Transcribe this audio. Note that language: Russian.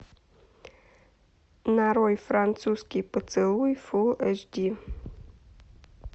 нарой французский поцелуй фул эш ди